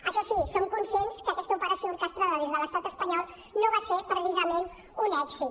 això sí som conscients que aquesta operació orquestrada des de l’estat espanyol no va ser precisament un èxit